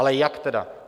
Ale jak tedy?